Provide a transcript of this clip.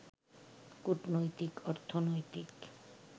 কূটনৈতিক, অর্থনৈতিক